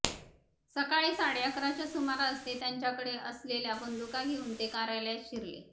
सकाळी साडे अकराच्या सुमारास ते त्यांच्याकडे असेल्या बंदुका घेऊन ते कार्यालयात शिरले